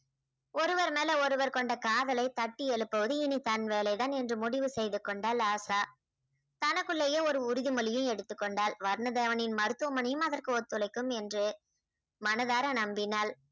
ஒருவர் மேல ஒருவர் கொண்ட காதலை தட்டி எழுப்புவது இனி தன் வேலை தான் என்று முடிவு செய்து கொண்டாள் ஆசா. தனக்குள்ளேயே ஒரு உறுதி மொழியும் எடுத்து கொண்டாள். வர்ணதேவனின் மருத்துவமனையும் அதற்கு ஒத்துழைக்கும் என்று மனதார நம்பினாள்